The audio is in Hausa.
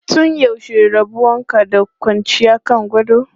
Tun yaushe rabon ka da kwanciya kan gado?